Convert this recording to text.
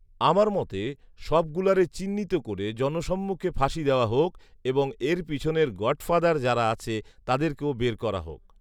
আমার মতে সব গুলারে চিহ্নিত করে জনসম্মুখে ফাঁসি দেওয়া হোক এবং এর পিছনের গঢফাদার যারা আছে তাদেরকেও বের করা হোক